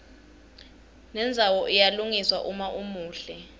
nendzawo iyalungiswa uma umuhle